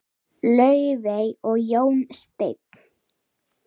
Laufey og Jón Steinn.